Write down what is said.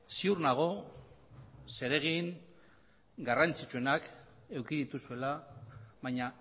ziur nago zeregin garrantzitsuenak eduki dituzuela baina